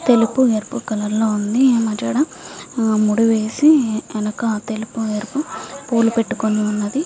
తెలుపు ఎరుపు కలర్ లో వుంది వెనుకల ముడి వేసి తెలుపు ఎరుపు పుల్లు పెటుకొని వున్నది.